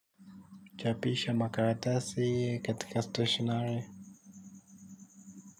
Kuchapisha makaratasi katika stationery.